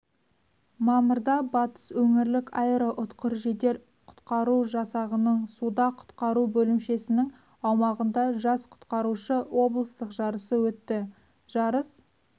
мамырда батыс өңірлік аэроұтқыр жедел-құтқару жасағының суда құтқару бөлімшесінің аумағында жас құтқарушы облыстық жарысы өтті жарыс